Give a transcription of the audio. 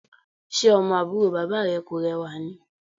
Ṣe ọmọ àbúrò bàbá rẹ kò rẹwà ni?